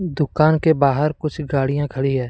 दुकान के बाहर कुछ गाड़ियां खड़ी हैं।